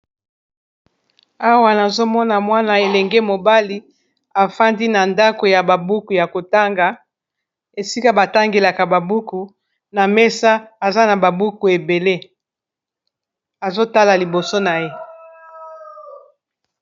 Awa nazomona mwana elenge mobali afandi na ndako ya ba buku ya kotanga esika batangelaka ba buku na mesa aza na ba buku ebele azotala liboso na ye.